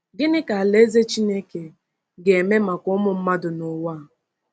Gịnị ka Alaeze Chineke ga-eme maka ụmụ mmadụ n’ụwa?